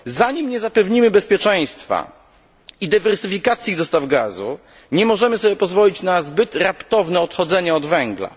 Dopóki nie zapewnimy bezpieczeństwa i dywersyfikacji dostaw gazu, nie możemy sobie pozwolić na zbyt raptowne odchodzenie od węgla.